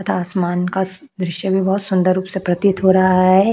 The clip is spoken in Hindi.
तथा आसमान का स दृश्य भी बहुत सुंदर रूप से प्रतीत हो रहा है।